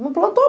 Não plantou?